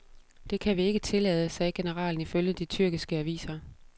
Det kan vi ikke tillade, sagde generalen ifølge de tyrkiske aviser.